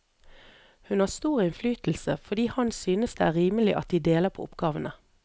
Hun har stor innflytelse, fordi han synes det er rimelig at de deler på oppgavene.